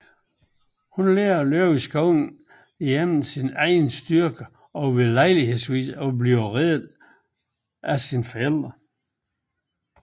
Hun lærer at leve i skoven gennem sin egen styrke og ved lejlighedsvis at blive reddet af hendes forældre